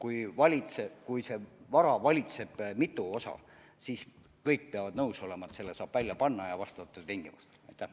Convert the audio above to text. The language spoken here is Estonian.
Aga ma usun, et kui seda vara valitseb mitu osapoolt, siis kõik peavad nõus olema, et selle saab vastavatel tingimustel välja panna.